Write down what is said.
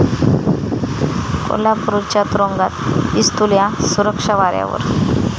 कोल्हापूरच्या तुरूंगात 'पिस्तुल्या', सुरक्षा वाऱ्यावर?